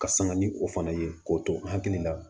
Ka sanga ni o fana ye k'o to n hakili la